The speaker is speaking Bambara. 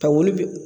Ka wuli